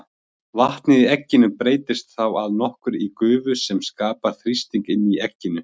Vatnið í egginu breytist þá að nokkru í gufu sem skapar þrýsting inni í egginu.